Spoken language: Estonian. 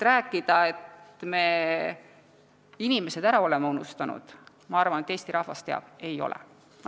Rääkida, et me oleme inimesed ära unustanud – ma arvan, et Eesti rahvas teab, et ei ole.